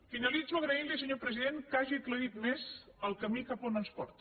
finalitzo agraint li senyor president que hagi aclarit més el camí cap a on ens porta